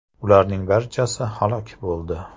Ularning barchasi halok bo‘ldi.